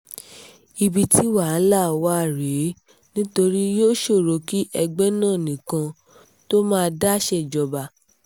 ibi tí wàhálà wà rèé nítorí yóò ṣòro kí ẹgbẹ́ nna nìkan tóo máa dá ṣèjọba